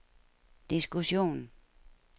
diskussion